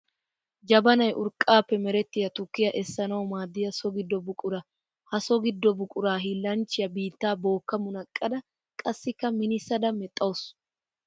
Jabanay urqqappe merettiya tukkiya essanawu maaddiya so gido buqura. Ha so gido buqura hiillanchchiya biitta booka munaqqadda qassikka minnissada medhdhawussu.